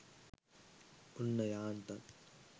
ඔන්න යාන්තන්